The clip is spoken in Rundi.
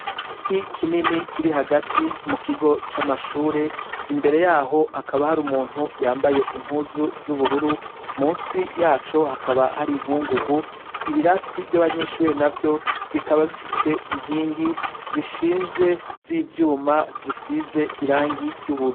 Igiti kinini kiri hagati mu kigo c'amashure imbere yaho hakaba hari umuntu yambaye impuzu z'ubururu munsi yacu hakaba hari inkungugu ibirasi ry'abanyeshuri na vyo bikaba bifise inkingi zishinze z'ivyuma zisize irangi ry'ubururu.